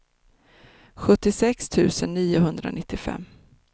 sjuttiosex tusen niohundranittiofem